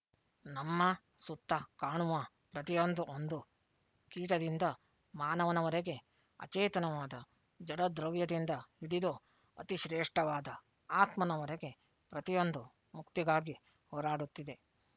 ನಮ್ಮ ಸುತ್ತ ಕಾಣುವ ಪ್ರತಿಯೊಂದು ಒಂದು ಕೀಟದಿಂದ ಮಾನವನವರೆಗೆ ಅಚೇತನವಾದ ಜಡದ್ರವ್ಯದಿಂದ ಹಿಡಿದು ಅತಿಶ್ರೇಷ್ಠವಾದ ಆತ್ಮನವರೆಗೆ ಪ್ರತಿಯೊಂದು ಮುಕ್ತಿಗಾಗಿ ಹೋರಾಡುತ್ತಿದೆ